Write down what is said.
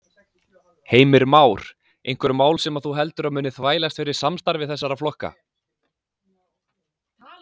Heimir Már: Einhver mál sem þú heldur að muni þvælast fyrir samstarfi þessara flokka?